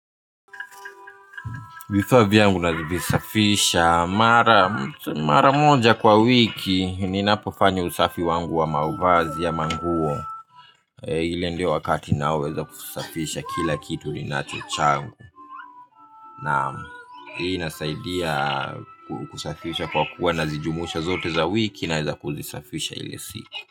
Vifaa vyangu navisafisha, mara moja kwa wiki, ninapofanya usafi wangu wa mavazi ya manguo ile ndio wakati naweza kusafisha kila kitu ninacho changu. Na hii inasaidia kusafisha kwa kuwa nazijumuisha zote za wiki na kuzisafisha ili siku.